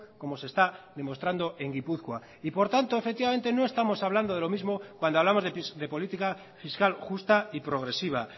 como se está demostrando en gipuzkoa y por tanto efectivamente no estamos hablando de lo mismo cuando hablamos de política fiscal justa y progresiva